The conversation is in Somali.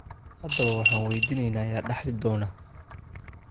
Haddaba waxaan weydiineynaa yaa dhaxli doona?